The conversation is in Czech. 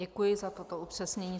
Děkuji za toto upřesnění.